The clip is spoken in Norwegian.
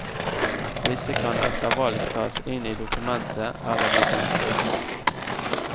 Disse kan etter valg tas inn i dokumentet, eller de kan strykes.